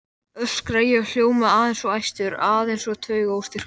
öskra ég og hljóma aðeins of æstur, aðeins of taugaóstyrkur.